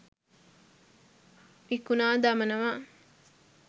විකුණා දමනවා